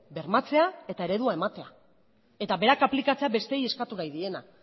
bermatzea eta eredua ematea eta berak aplikatzea besteei eskatu nahi diena